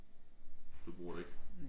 Du bruger det ikke?